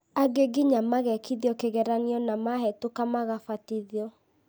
angĩ nginya magekithio kĩgeranio na mahetũka magabatithio